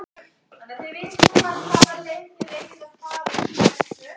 Háskólabyggingin tekin í notkun- Hernám- Nýr stúdentagarður byggður.